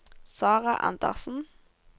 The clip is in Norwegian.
Sarah Andersen